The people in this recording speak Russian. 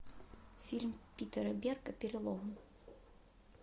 фильм питера берга перелом